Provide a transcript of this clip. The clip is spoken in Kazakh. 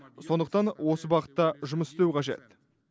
сондықтан осы бағытта жұмыс істеу қажет